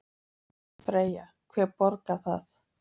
Freyja: Hver borgar það?